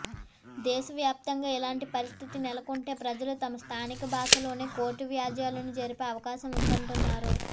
దేశ వ్యాప్తంగా ఇలాంటి పరిస్థితి నెలకొంటే ప్రజలు తమ స్థానిక భాషలోనే కోర్టు వ్యాజ్యాలను జరిపే అవకాశం ఉంటుందన్నారు